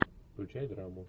включай драму